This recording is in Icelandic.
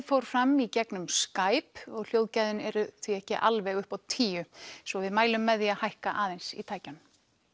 fór fram í gegnum Skype og hljóðgæðin eru ekki alveg upp á tíu svo við mælum með því að hækka aðeins í tækjunum